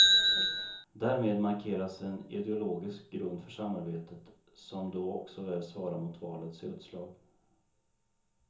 Därmed markeras en ideologisk grund för samarbetet, som då också väl svarar mot valets utslag.